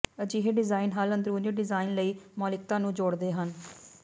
ਅਜਿਹੇ ਡਿਜ਼ਾਇਨ ਹੱਲ ਅੰਦਰੂਨੀ ਡਿਜ਼ਾਇਨ ਲਈ ਮੌਲਿਕਤਾ ਨੂੰ ਜੋੜਦੇ ਹਨ